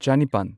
ꯆꯅꯤꯄꯥꯟ